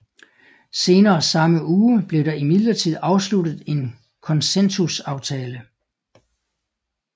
Senere samme uge blev der imidlertid afsluttet en konsensusaftale